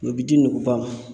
O bi di nuguba ma